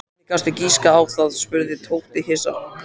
Hvernig gastu giskað á það? spurði Tóti hissa.